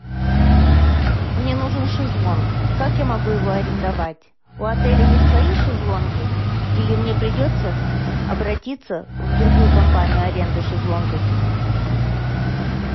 мне нужен шезлонг как я могу его арендовать у отеля есть свои шезлонги или мне придется обратиться в другую компанию аренды шезлонгов